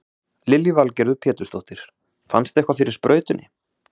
Lillý Valgerður Pétursdóttir: Fannstu eitthvað fyrir sprautunni?